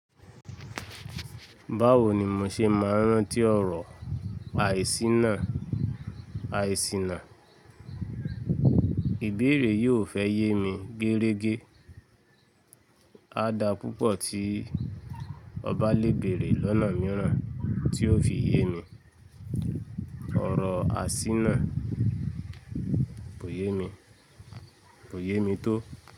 Báwo ni mò ṣe máa rántí ọ̀rọ̀ àìsìná, àìsìná ìbéèrè yiò fẹ́ yé mi gérégẹ́. A da púpọ̀ tí ọba lé bèrè lọ́nà mìíràn tí ó fi yé mi. Ọ̀rọ̀ àsìná kò yé mi, kò yé mi tó.